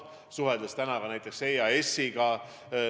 Ma suhtlesin täna EAS-iga.